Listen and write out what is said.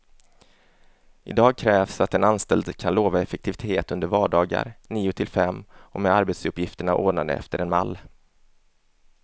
Idag krävs att en anställd kan lova effektivitet under vardagar, nio till fem och med arbetsuppgifterna ordnade efter en mall.